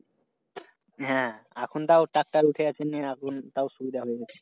হ্যাঁ এখন তাউ tractor উঠে এখন তাউ সুবিধা হয়ে গেছে।